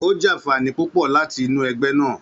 Ó jàfààní púpọ̀ láti inú ẹgbẹ́ náà.